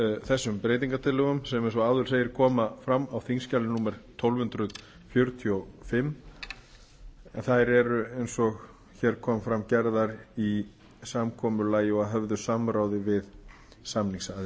þessum breytingartillögum sem eins og áður segir koma fram á þingskjali tólf hundruð fjörutíu og fimm en þær eru eins og hér kom fram gerðar í samkomulagi og að höfðu samráði við samningsaðila